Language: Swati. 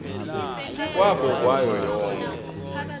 kwabo kwayo yonkhe